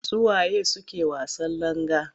Su wa ye suke wasan langa?